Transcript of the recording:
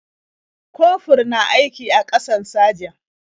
Kofur na aiki a ƙasan sajan.